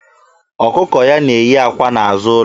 Ọkụkọ ya na-eyí àkwá n'azụ ụlọ.